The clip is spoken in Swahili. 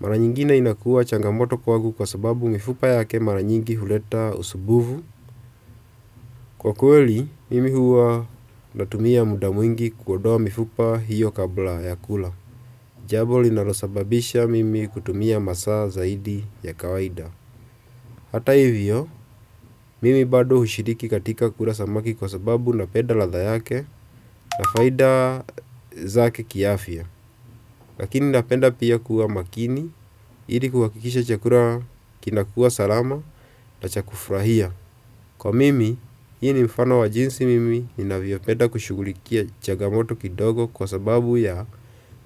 mara nyingine inakuwa changamoto kwangu kwa sababu mifupa yake mara nyingi huleta usumbufu. Kwa kweli, mimi huwa natumia muda mwingi kuondoa mifupa hiyo kabla ya kula. Jambo linalosababisha mimi kutumia masaa zaidi ya kawaida. Hata hivyo, mimi bado hushiriki katika kula samaki kwa sababu napenda ladha yake na faida zake ki afia. Lakini napenda pia kuwa makini, ili kuhakikisha chakula kinakua salama na cha kufurahia. Kwa mimi, hi mfano wa jinsi mimi, ninavyopenda kushugulikia chagamoto kidogo kwa sababu ya